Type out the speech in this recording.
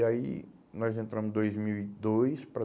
E aí, nós entramos em dois mil e dois para